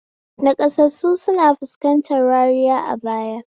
Naƙasassu sukan fuskanci wariya a baya.